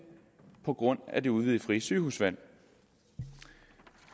på grund af det udvidede frie sygehusvalg